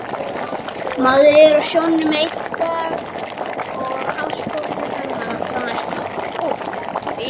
Maður er á sjónum einn daginn og hafsbotni þann næsta